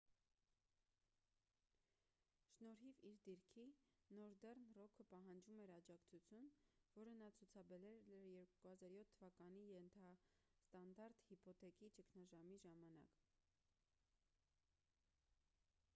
շնորհիվ իր դիրքի նորդեռն ռոքը պահանջում էր աջակացություն որը նա ցուցաբերել էր 2007 թվականի ենթաստանդարտ հիփոթեքի ճգնաժամի ժամանակ